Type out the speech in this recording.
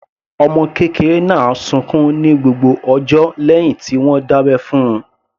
Ọmọ kékeré náà sunkún ní gbogbo ọjọ́ lẹ́hìn tí wọ́n dábẹ́ fún - un.